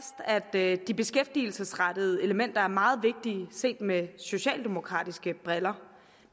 at de beskæftigelsesrettede elementer er meget vigtige set med socialdemokratiske briller